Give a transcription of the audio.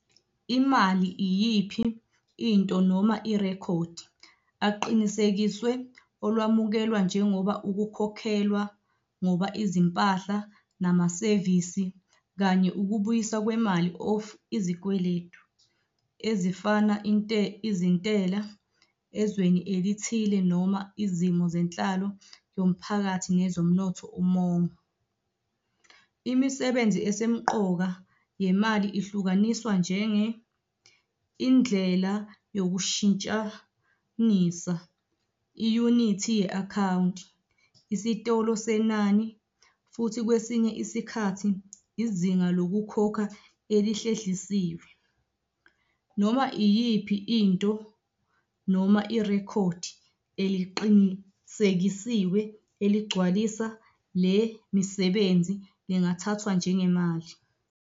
Imali iyiphi into noma irekhodi aqinisekiswe olwamukelwa njengoba ukukhokhelwa ngoba izimpahla namasevisi kanye ukubuyiswa kwemali of izikweletu, ezifana izintela, ezweni elithile noma izimo zenhlalo yomphakathi nezomnotho umongo. Imisebenzi esemqoka yemali ihlukaniswa njenge- indlela yokushintshanisa, iyunithi ye-akhawunti, isitolo senani futhi kwesinye isikhathi, izinga lokukhokha elihlehlisiwe. Noma iyiphi into noma irekhodi eliqinisekisiwe eligcwalisa le misebenzi lingathathwa njengemali.